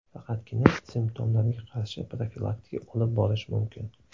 Faqatgina simptomlarga qarshi profilaktika olib borish mumkin.